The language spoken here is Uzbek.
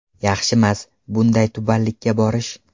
Yaxshimas, bunday tubanlikka borish.